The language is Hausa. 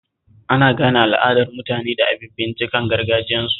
Ana gane al'adar mutane da abinciccikan gargajiyarsu